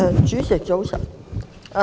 主席，早晨。